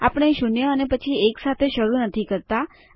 આપણે શૂન્ય અને પછી એક સાથે શરૂ નથી કરતા